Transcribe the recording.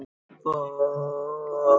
Hún Ingunn, það er sko kvenmaður!